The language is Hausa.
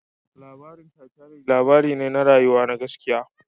Labarin Titanic labari ne na rayuwa na gaskiya